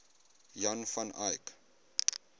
jan van eyck